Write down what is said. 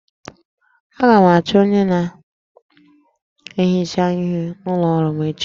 Aga m achọ onye na-ehicha ihe n'ụlọ ọrụ m echi